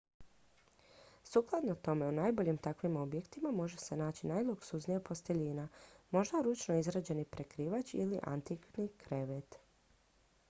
sukladno tome u najboljim takvim objektima može se naći najluksuznija posteljina možda ručno izrađeni prekrivač ili antikni krevet